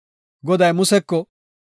Goday Museko,